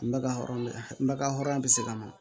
Ma hɔrɔn ba hɔrɔnya bɛ se ka na